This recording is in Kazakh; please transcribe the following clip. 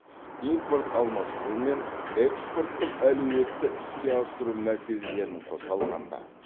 импорт алмастыру мен экспорттық әлеуетті іске асыру мәселелерін қоса алғанда